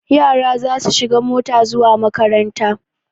Yara za su shiga mota zuwa makaranta.